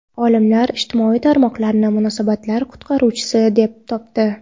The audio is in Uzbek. Olimlar ijtimoiy tarmoqlarni munosabatlar qutqaruvchisi deb topdi.